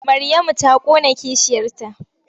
Maryamu ta ƙona kishiyarta.